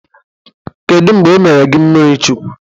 Kedụ mgbe e mere gi mmirichukwu?